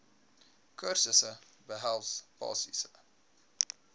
kursusse behels basiese